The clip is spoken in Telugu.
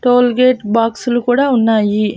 టోల్గేట్ బాక్సులు కూడా ఉన్నాయి.